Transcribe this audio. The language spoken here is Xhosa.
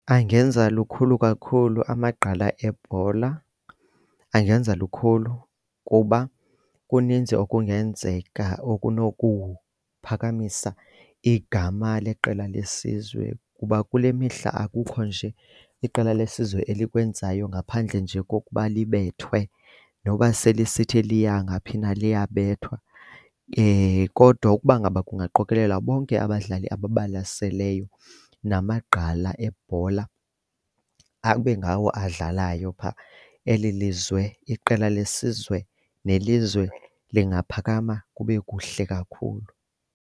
Angenza lukhulu kakhulu amagqala ebhola, angenza lukhulu kuba kuninzi okungenzeka okunokuphakamisa igama leqela lesizwe kuba kule mihla akukho nje iqela lesizwe elikwenzayo ngaphandle nje kokuba libethwe noba selisiithi liya ngaphi na liyabethwa. Kodwa ukuba ngaba kungaqokelelwa bonke abadlali ababalaseleyo namagqaa ebhola abe ngawo adlalayo phaa eli lizwe, iqela lesizwe nelizwe lingaphakama kube kuhle kakhulu.